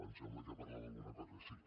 em sembla que parlava d’alguna cosa així